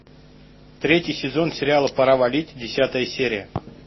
третий сезон сериала пора валить десятая серия